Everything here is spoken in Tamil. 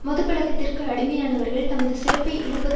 மதுப் பழக்கத்திற்கு அடிமையானவர்கள் தமது சிறப்பை இழப்பது